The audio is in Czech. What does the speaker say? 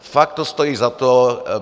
Fakt to stojí za to.